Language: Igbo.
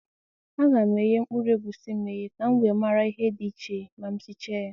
A ga m eghe mkpụrụ egwusi m eghe ka m nwe mara ihe dị iche ma sicha ya